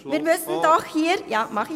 Das mache ich gleich.